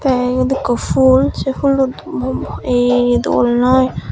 te iyot ekku fhool se fhoollo ey dol noi.